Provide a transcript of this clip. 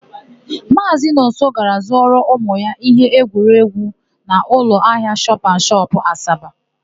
Maazị Nonso gara zụọrọ ụmụ ya íhé egwuregwu n'ụlọahịa shọpanshọp, Asaba.